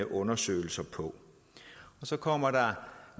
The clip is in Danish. undersøgelser på og så kommer der